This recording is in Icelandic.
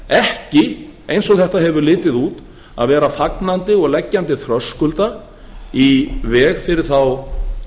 ekki eins og þetta hefur litið út að vera fagnandi og leggjandi þröskulda í veg fyrir þá